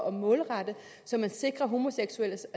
at målrette det så man sikrer homoseksuelles